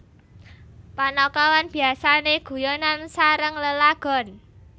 Panakawan biasane guyonan sareng lelagon